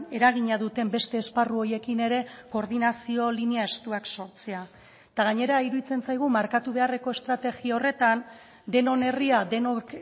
eragina duten beste esparru horiekin ere koordinazio linea estuak sortzea eta gainera iruditzen zaigu markatu beharreko estrategia horretan denon herria denok